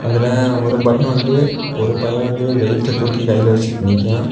இதுல ஒரு பைய வந்து ஒரு பைய வந்து வெயிட் தூக்கி கையில வச்சுகிட்டு நிக்கியா.